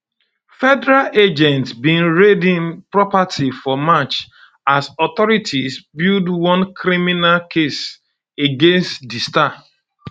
federal agents bin raid im properties for march as authorities build one criminal case against di star